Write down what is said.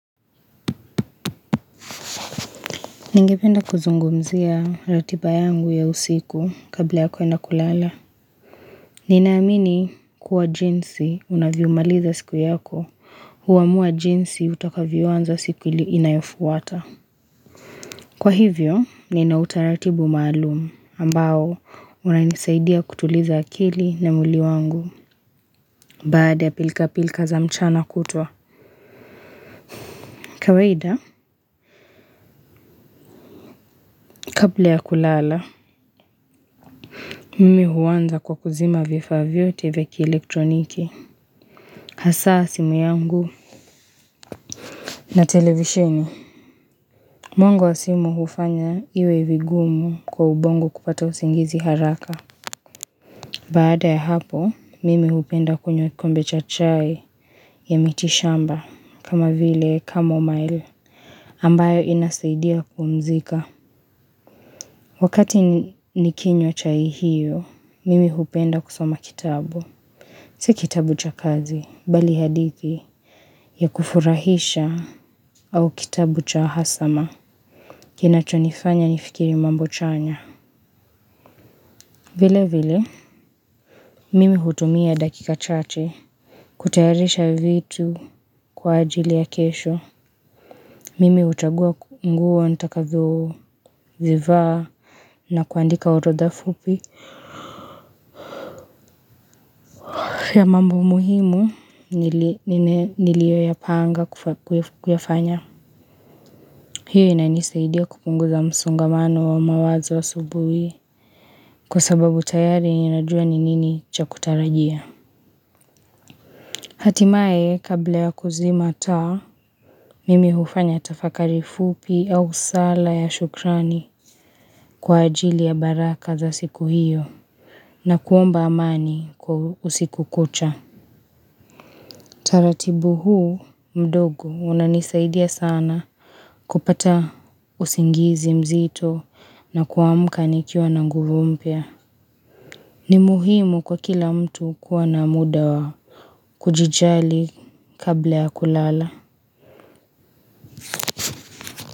Ningependa kuzungumzia ratiba yangu ya usiku kabla ya kwenda kulala. Ninaamini kuwa jinsi unavyomaliza siku yako huamua jinsi utakavyo anza siku ili inayofuata. Kwa hivyo, nina utaratibu maalumu ambao unanisaidia kutuliza akili na mwili wangu baada ya pilika pilika za mchana kutwa. Kawaida, kabla ya kulala, mimi huanza kwa kuzima vifaa vyote vya kielektroniki. Hasaa simu yangu na televisheni. Mwanga wa simu hufanya iwe vigumu kwa ubongo kupata usingizi haraka. Baada ya hapo, mimi hupenda kunywa kikombe cha chai ya miti shamba kama vile kamo mail ambayo inasaidia kupumzika. Wakati nikinywa chai hiyo, mimi hupenda kusoma kitabu. Si kitabu cha kazi, bali hadithi ya kufurahisha, au kitabu cha hasama. Kinacho nifanya nifikiri mambo chanya. Vile vile, mimi hutumia dakika chache, kutayarisha vitu kwa ajili ya kesho. Mimi huchagua nguo nitakazo zivaa na kuandika orodha fupi. Ya mambo muhimu, niliyo yapanga kuyafanya. Hiyo inanisaidia kupunguza msongamano wa mawazo asubuhi kwa sababu tayari ninajua ni nini cha kutarajia. Hatimaye kabla ya kuzima taa, mimi hufanya tafakari fupi au sala ya shukrani kwa ajili ya baraka za siku hiyo nakuomba amani kwa usiku kucha. Utaratibu huu mdogo unanisaidia sana kupata usingizi mzito na kuamka nikiwa na nguvu mpya ni muhimu kwa kila mtu kuwa na muda wa kujijali kabla ya kulala.